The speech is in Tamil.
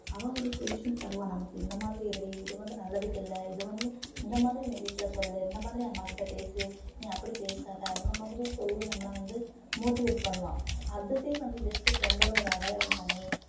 அவ ஒரு solution தருவா நமக்கு இந்த மாதிரி இருடி இது வந்து நல்லதுக்கு இல்லை இது வந்து இந்த மாதிரி நீ வீட்ல சொல்லு இந்த மாதிரி அம்மா கிட்ட பேசு நீ அப்படி பேசாத அந்த மாதிரி சொல்லி நம்மளை வந்து motivate பண்ணுவா அதுவே வந்து best friend ஓட ஒரு அடையாளம்தானே